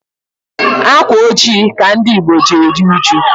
Ákwà ojii ka ndị Ìgbo ji eru uju.